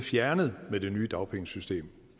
fjernet med det nye dagpengesystem